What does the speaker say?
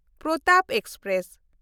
Pratap express